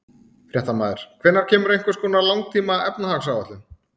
Fréttamaður: Hvenær kemur einhvers konar langtíma efnahagsáætlun?